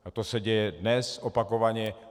A to se děje dnes opakovaně.